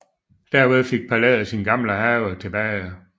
Derved fik palæet sin gamle have tilbage